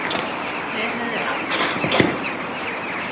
Þeir höfðu aldrei séð annað eins.